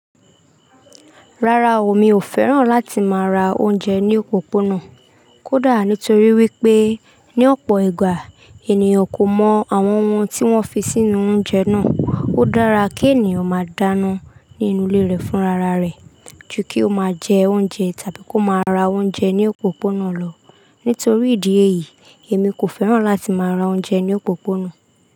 Rárá o, mi ò fẹ́ràn láti máa ra oúnjẹ ní òpópónà. Kódà nítorí wípé ní ọ̀pọ̀ ìgbà ènìyàn kò mọ àwọn ohun tí wọ́n fi sínú oúnjẹ náà. Ó dára kí ènìyàn máa dáná nínú ilé rẹ̀ fúnra rare ju kí ó máa jẹ oúnjẹ tàbí kó máa ra oúnjẹ ní òpópónà lọ. Nítorí ìdí èyí, èmi kò fẹ́ràn láti máa ra oúnjẹ ní òpópónà.